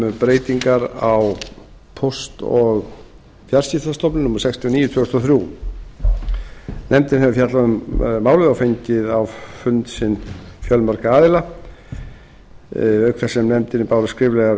um breytingar á lögum um póst og fjarskiptastofnun númer sextíu og níu tvö þúsund og þrjú nefndin hefur fjallað um málið og fengið á fund sinn fjölmarga aðila auk þess sem nefndinni bárust skriflegar